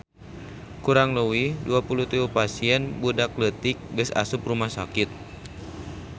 Kurang leuwih 23 pasien budak leutik geus asup rumah sakit